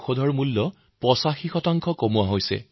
হৃদৰোগীসকলৰ বাবে হাৰ্ট Stentৰ দাম ৮৫ পৰ্যন্ত কম কৰা হৈছে